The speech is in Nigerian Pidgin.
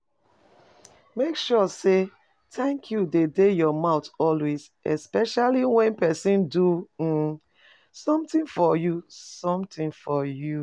Make sure say thank you de your mouth always especially when persin do um something for you something for you